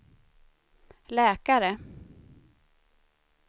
läkare